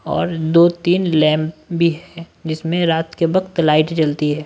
और दो-तीन लैंप भी है जिसमें रात के वक्त लाइट जलती है।